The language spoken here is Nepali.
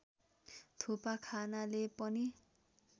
थोपा खानाले पनि